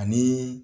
Ani